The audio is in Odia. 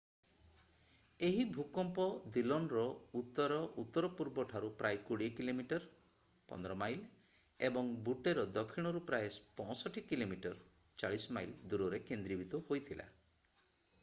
ଏହି ଭୂକମ୍ପ ଦିଲନର ଉତ୍ତର-ଉତ୍ତର-ପୂର୍ବଠାରୁ ପ୍ରାୟ 20 କିଲୋମିଟର 15 ମାଇଲ ଏବଂ ବୁଟ୍ଟେ ର ଦକ୍ଷିଣ ରୁ ପ୍ରାୟ 65 କିଲୋମିଟର 40 ମାଇଲ୍ ଦୂରରେ କେନ୍ଦ୍ରୀଭୂତ ହୋଇଥିଲା।